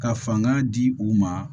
Ka fanga di u ma